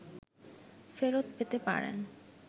ফেরৎ পেতে পারেন